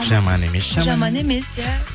жаман емес жаман емес иә